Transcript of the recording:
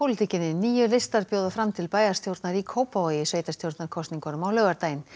níu listar bjóða fram til bæjarstjórnar í Kópavogi í sveitarstjórnarkosningunum á laugardaginn